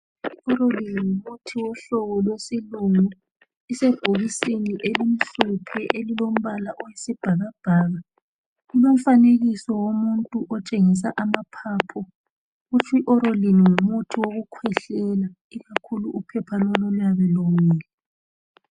Orolin ngumuthi wohlobo lwesilungu, isebhokisini elimhlophe elilombala owesibhakabhaka, lilomfanekiso womuntu otshengisa amaphaphu. Kutsh' iOrolin ngumuthi wokukhwehlela ikakhulu uphepha lolu oluyabe lomile